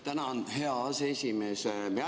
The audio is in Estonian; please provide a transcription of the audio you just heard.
Tänan, hea aseesimees!